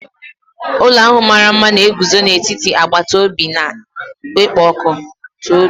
Ụlọ ahụ mara mma na-eguzo n'etiti agbata obi na-ekpo ọkụ.